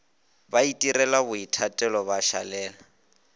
ba itirela boithatelo ba šalela